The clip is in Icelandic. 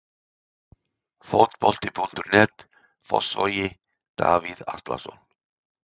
Fótbolti.net, Fossvogi- Davíð Atlason.